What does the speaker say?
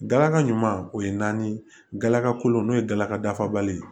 Galaga ɲuman o ye naanikalo n'o ye galaka dafabali ye